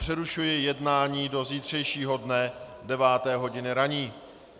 Přerušuji jednání do zítřejšího dne deváté hodiny ranní.